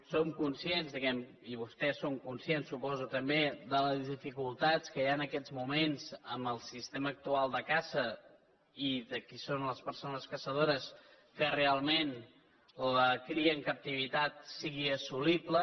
som conscients diguem ne i vostès són conscients suposo també de les dificultats que hi ha en aquests moments amb el sistema actual de caça i de qui són les persones caçadores perquè realment la cria en captivitat sigui assolible